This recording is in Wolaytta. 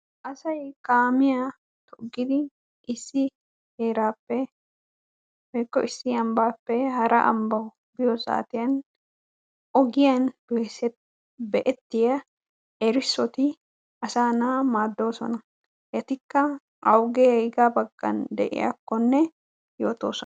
Asay kaamiyaa toggidi issi heerappe woykko issi ambbappe hara ambbawu biyoo saatiyaan ogiyaan dosettiyaa be'ettiyaa erissoti asaa na'aa maaddoosona. etikka awugee awugaa baggan de'iyaakkonne yootosona.